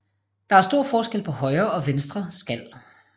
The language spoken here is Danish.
Der er stor forskel på højre og venstre skal